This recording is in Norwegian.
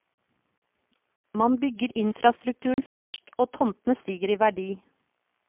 Man bygger infrastrukturen først, og tomtene stiger i verdi.